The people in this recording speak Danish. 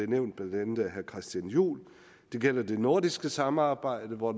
nævnt blandt andet af herre christian juhl det gælder det nordiske samarbejde hvor